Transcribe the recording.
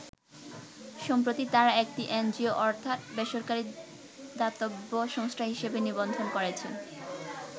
সম্প্রতি তারা একটি এনজিও অর্থাৎ বেসরকারি দাতব্য সংস্থা হিসাবে নিবন্ধন করেছে।